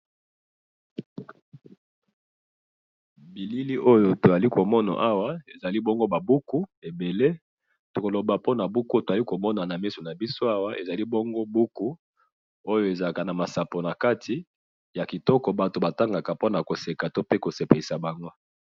Na moni ba buku ya masapo po na kosekisa